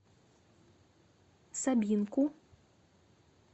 собинку